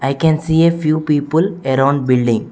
We can see a few people around building.